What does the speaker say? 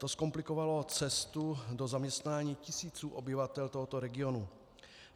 To zkomplikovalo cestu do zaměstnání tisícům obyvatel tohoto regionu.